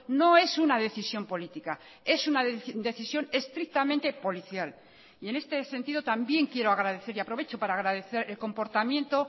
no es una decisión política es una decisión estrictamente policial y en este sentido también quiero agradecer y aprovecho para agradecer el comportamiento